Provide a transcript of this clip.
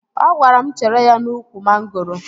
Ọ gwara m chere ya n'ụkwụ mangoro